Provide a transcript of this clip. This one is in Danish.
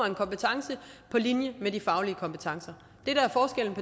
en kompetence på linje med de faglige kompetencer